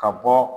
Ka bɔ